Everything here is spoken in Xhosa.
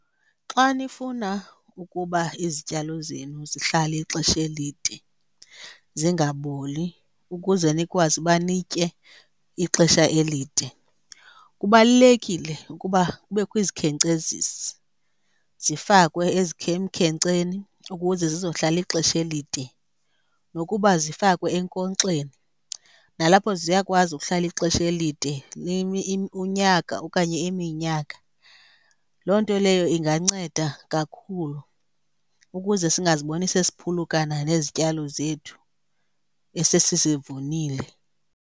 Xa nifuna ukuba izityalo zenu zihlale ixesha elide zingaboli ukuze nikwazi uba nitye ixesha elide, kubalulekile ukuba kubekho izikhenkcezisi zifakwe emkhenkceni ukuze zizohlala ixesha elide. Nokuba zifakwe enkonkxeni, nalapho ziyakwazi ukuhlala ixesha elide unyaka okanye iminyaka. Loo nto leyo inganceda kakhulu ukuze singazibona sesiphulukana nezityalo zethu esesizivunile.